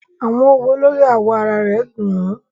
Awọn õwo lori awọ ara rẹ dun un